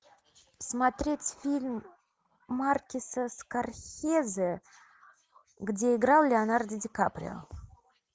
смотреть фильм мартина скорсезе где играл леонардо ди каприо